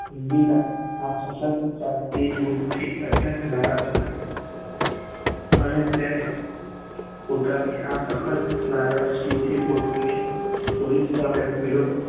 ઇન્દિરા આ સતત ચાલતી દુખ થી અત્યંત નારાજ હતી અને તે પોતાની આ અખ્ત નારાજદો થી પોતાની પોલીસ સામે વિરોધ